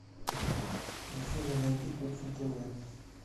афина найди кухня тв